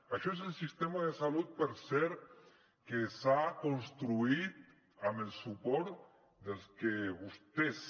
això és el sistema de salut per cert que s’ha construït amb el suport dels que vostès